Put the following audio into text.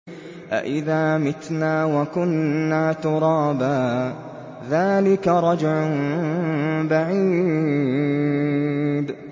أَإِذَا مِتْنَا وَكُنَّا تُرَابًا ۖ ذَٰلِكَ رَجْعٌ بَعِيدٌ